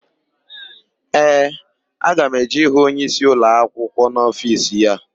Ee, aga m eje ịhụ onyeisi ụlọakwụkwọ n'ofiisi ya.